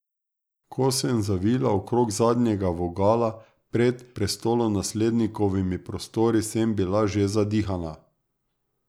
Ko sem zavila okrog zadnjega vogala pred prestolonaslednikovimi prostori, sem bila že zadihana.